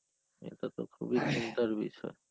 এটা তো খুবই চিন্তার বিষয়.